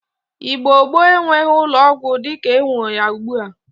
Igbo gboo enweghi ụlọ ọgwọ di ka enwe ya ugbua.